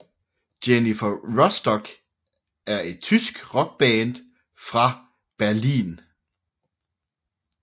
Jennifer Rostock er et tysk rockband fra Berlin